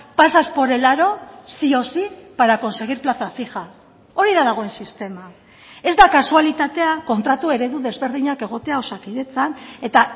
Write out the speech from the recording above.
pasas por el aro sí o sí para conseguir plaza fija hori da dagoen sistema ez da kasualitatea kontratu eredu desberdinak egotea osakidetzan eta